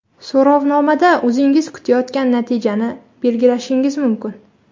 So‘rovnomada o‘zingiz kutayotgan natijani belgilashingiz mumkin.